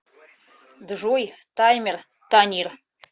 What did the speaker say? джой таймер танир